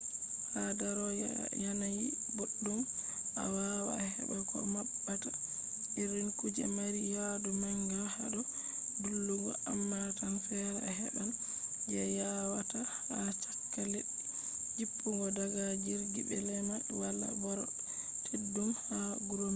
ha dar yanayi boddum a wawa a heba koh mabbata irin kuje mari yadu manga hado dillugo- amma tan fere a heban je yawata ha chaka leddi jippugo daga jirgi be lema wala boro tedudum ha groomed tracks